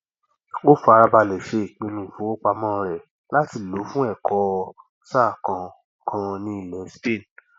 ó farabalẹ ṣe ìpinnu ìfowópamọ rẹ láti lòó fún ẹkọ ọ sáà kan kan ní ilẹ spain